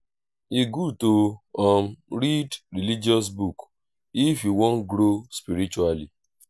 e gud to um read religious book if yu wan grow spiritually